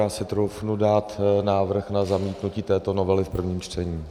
Já si troufnu dát návrh na zamítnutí této novely v prvním čtení.